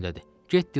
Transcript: Get dilap axtar.